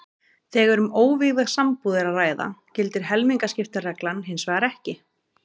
Þegar um óvígða sambúð er að ræða gildir helmingaskiptareglan hins vegar ekki.